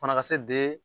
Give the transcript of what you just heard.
Fana ka se de